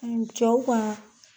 cew ka.